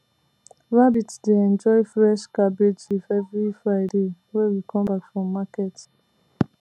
rabbit dey enjoy fresh cabbage leaf every friday wey we come back from market